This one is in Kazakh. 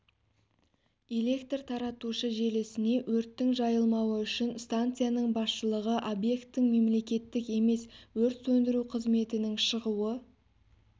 электр таратушы желісіне өрттің жайылмауы үшін станцияның басшылығы объектің мемлеттік емес өрт сөндіру қызметінің шығуы